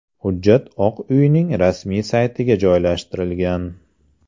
Hujjat Oq uyning rasmiy saytiga joylashtirilgan.